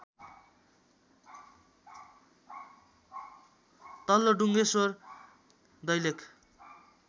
तल्लो डुङ्गेश्वर दैलेख